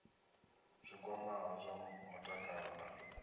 zwi kwamaho zwa mutakalo na